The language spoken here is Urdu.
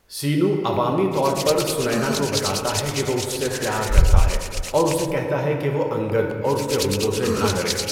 سینو عوامی طور پر سنینا کو بتاتا ہے کہ وہ اس سے پیار کرتا ہے اور اسے کہتا ہے کہ وہ انگد اور اس کے غنڈوں سے نہ ڈرے۔